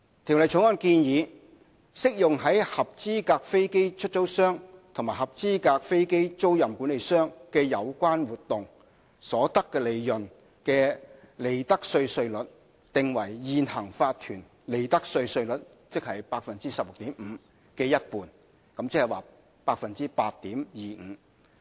《條例草案》建議，適用於合資格飛機出租商及合資格飛機租賃管理商的有關活動，所得利潤的利得稅稅率，訂為現行法團利得稅稅率 16.5% 的一半，即 8.25%。